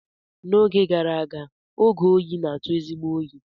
N'oge gara aga, oge oyi na-atụ ezigbo oyi.